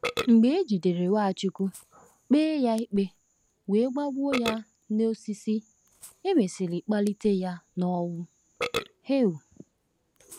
Mgbe e jidere Nwachukwu, kpee ya ikpe, were gbagbuo ya n’osisi, e mesịrị kpalite ya n’ọnwụ. um